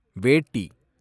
வேட்டி